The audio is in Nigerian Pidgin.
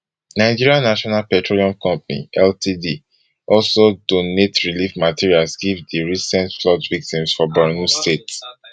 nigeria national petroleum company ltd also donate relief materials give di recent flood victims for borno state